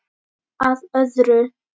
Að öðru.